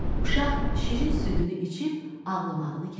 Uşaq şirin südünü içib ağlamağını kəsdi.